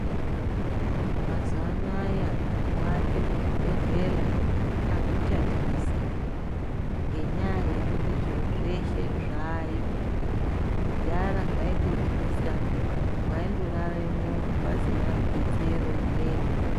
Mazuwa anaya kuate muchibhedhlera akuchatyisi ngenyaya yekuti zviro zveshe zvayo . Kudhara zvaitotyisa waindoraremwo pasina detsero imweni.